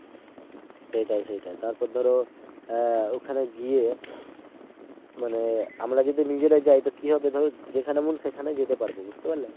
সেটাই সেটাই তারপর ধর আহ ওখানে গিয়ে মানে আমরা যদি নিজেরা যায় তো কি হবে ধরো যেখানে মন সেখানে যেতে পারবো। বুঝতে পারলে